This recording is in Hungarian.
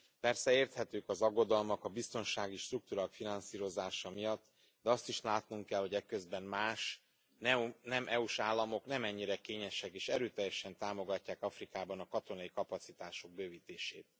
Persze érthetők az aggodalmak a biztonsági struktúrák finanszírozása miatt, de azt is látnunk kell, hogy eközben más, nem EU s államok nem ennyire kényesek, és erőteljesen támogatják Afrikában a katonai kapacitások bővítését.